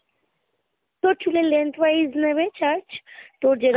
তোর চুলের lengthwise নেবে charge তোর যেরম